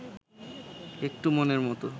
একটু মনের মত